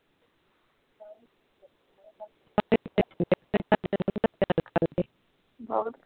ਹੋਰ